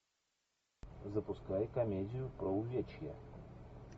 запускай комедию про увечья